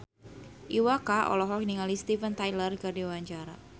Iwa K olohok ningali Steven Tyler keur diwawancara